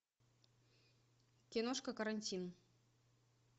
киношка карантин